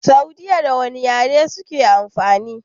Saudiya da wane yare suke amfani?